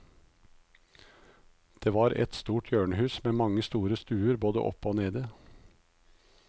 Det var en stor hjørnehus med mange store stuer både oppe og nede.